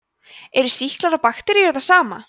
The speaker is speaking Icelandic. eru sýklar og bakteríur það sama